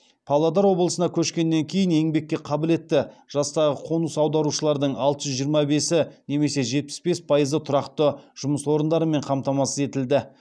павлодар облысына көшкеннен кейін еңбекке қабілетті жастағы қоныс аударушылардың алты жүз жиырма бесі немесе жетпіс бес пайызы тұрақты жұмыс орындарымен қамтамасыз етілді